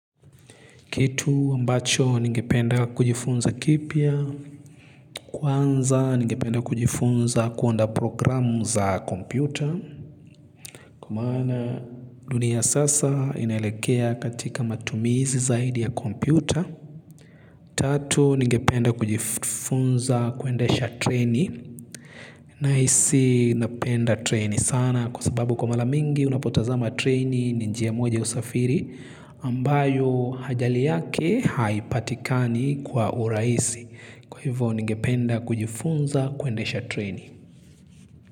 Kitu ambacho ningependa kujifunza kipya, kwanza ningependa kujifunza kuunda programu za kompyuta. Kwa maana dunia sasa inelekea katika matumizi zaidi ya kompyuta. Tatu ningependa kujifunza kuendesha treni. Na hisi napenda treni sana kwa sababu kwa maramingi unapotazama treni ninjia mweja usafiri ambayo hajali yake haipatikani kwa urahisi. Kwa hivyo ningependa kujifunza kuendesha treni.